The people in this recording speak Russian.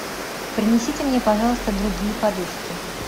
принесите мне пожалуйста другие подушки